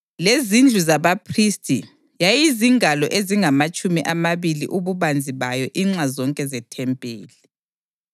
lezindlu zabaphristi yayizingalo ezingamatshumi amabili ububanzi bayo inxa zonke zethempeli.